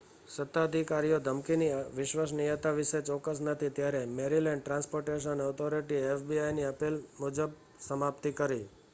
સત્તાધિકારીઓ ધમકીની વિશ્વસનીયતા વિશે ચોક્કસ નથી ત્યારે મૅરિલૅન્ડ ટ્રાન્સ્પોર્ટેશન ઑથોરિટીએ fbiની અપીલ મુજબ સમાપ્તિ કરી